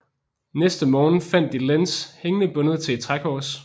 Næste morgen fandt de Lenz hængende bundet til et trækors